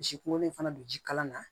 Misi kunkolo in fana don ji kala na